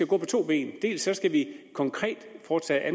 gå på to ben dels skal vi konkret foretage